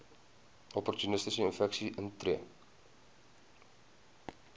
opportunistiese infeksies intree